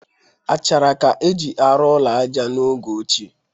Achara ka e ji arụ ụlọ aja n'oge ochie.